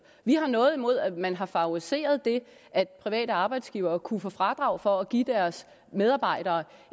vi har noget imod at man har favoriseret det at private arbejdsgivere kunne få fradrag for at give deres medarbejdere